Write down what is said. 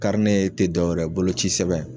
Karinɛ te dɔwɛrɛ ye bolo ci sɛbɛn